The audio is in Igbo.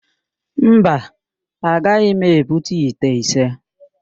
Mba, agaghị m ebute ite ise.